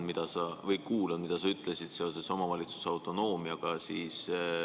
Ma kuulasin, mida sa ütlesid seoses omavalitsuse autonoomiaga.